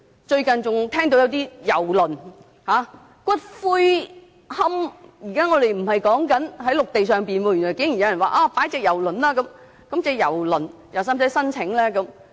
最近更有人提出郵輪龕場——不是在陸地上——原來竟然有人經營郵輪龕場，那是否需要向當局申請呢？